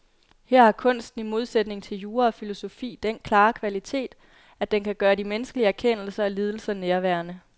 Her har kunsten i modsætning til jura og filosofi den klare kvalitet, at den kan gøre de menneskelige erkendelser og lidelser nærværende.